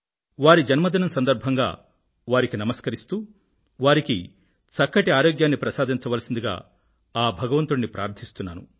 వారి జన్మదినం సందర్భంగా వారికి నమస్కరిస్తూ వారికి చక్కని ఆరోగ్యాన్ని ప్రసాదించవలసిందిగా ఆ భగవంతుడిని ప్రార్ధిస్తున్నాను